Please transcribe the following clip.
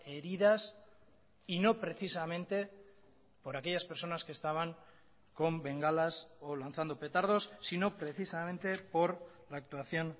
heridas y no precisamente por aquellas personas que estaban con bengalas o lanzando petardos sino precisamente por la actuación